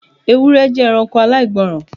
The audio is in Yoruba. Ewúrẹ jẹ ẹranko aláìgbọràn